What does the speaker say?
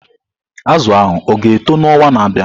Azụ ahụ ọ ga-eto n'ọnwa na-abịa?